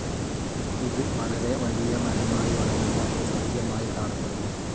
ഇത് വളരെ വലിയ മരമായി വളരുന്ന ഒരു സസ്യമായി കാണപ്പെടുന്നു.